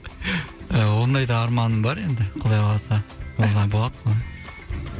ондай да арманым бар енді құдай қаласа